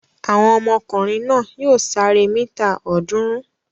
Àwọn ọmọkùnrin náà yóò sáré mítà ọ̀ọ́dúnrún.